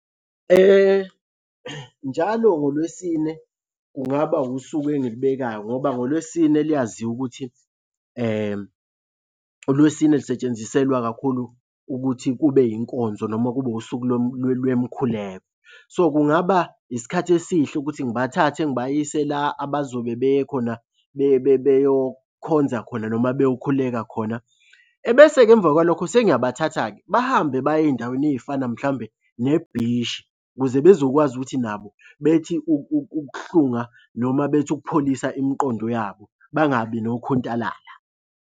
Njalo ngoLwesine kungaba wusuku engilibekayo ngoba ngolwesine liyaziwa ukuthi uLwesine lusetshenziselwa kakhulu ukuthi kube yinkonzo noma kube usuku lwemkhuleko. So, kungaba isikhathi esihle ukuthi ngibathathe ngibayise la abazobe beye khona beyokhonza khona noma beyokhuleka khona. Ebese-ke emva kwalokho sengiyabathatha-ke bahambe baye ey'ndaweni ey'fana mhlawumbe nebhishi ukuze bezokwazi ukuthi nabo bethi ukuhlunga noma bethi ukupholisa imiqondo yabo. Bangabi nokhuntalala.